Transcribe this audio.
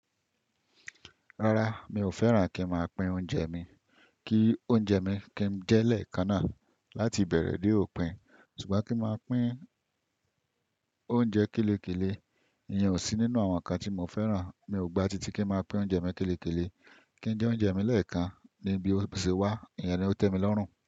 Rárá, mi ò fẹ́ran kí n máa pín oúnjẹ mi, kí oúnjẹ mi kí n jẹ́ lẹ́ẹ̀kan náà láti bẹ̀rẹ̀ dé òpin. Ṣùgbọ́n kí n máa pín oúnjẹ kélekéle, ìyẹn ò sí nínú àwọn ǹkan tí mo fẹ́ran. Mi ò gba titi kí n máa pín oúnjẹ mi kélekéle, kí n jẹ oúnjẹ mi lẹ́ẹ̀kan níbi tí ó ṣe wà, ìyẹn ni ó tẹ́ mi lọ́rùn.